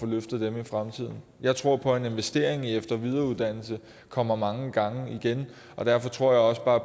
løftet i fremtiden jeg tror på at en investering i efter og videreuddannelse kommer mange gange igen og derfor tror jeg også bare